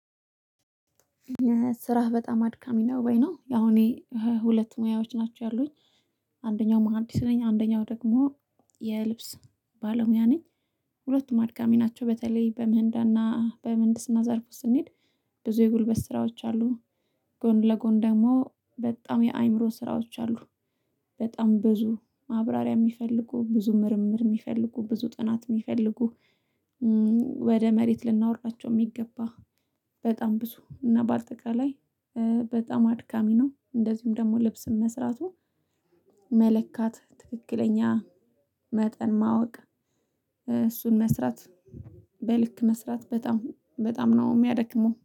ስራህ በጣም አድካሚ ነው ወይ? ነው ያው እኔ ሁለት ሙያዎች ናቸው ያሉኝ አንደኛው መሃንዲስ ነኝ አንደኛው ደግሞ የልብስ ባለሙያ ነኝ። ሁለቱም አድካሚ ናቸው። በተለይ በምህንዳና በምህንድስና ዘርፍ ስንሄድ ብዙ የጉልበት ስራዎች አሉ። ጎን ለጎን ደግሞ በጣም የአእምሮ ስራዎች አሉ። በጣም ብዙ ማብራሪያ የሚፈልጉ ብዙ ምርምር የሚፈልጉ ብዙ ጥናት የሚፈልጉ ወደ መሬት ልናወርዳቸው የሚገባ። በጣም ብዙ እና ባጠቃላይ በጣም አድካሚ ነው። እንደዚሁም ደግሞ ልብስን መስራቱ መለካት ትክክለኛ መጠን ማወቅ እሱን መስራት በልክ መስራት በጣም በጣም ነው የሚያደክመው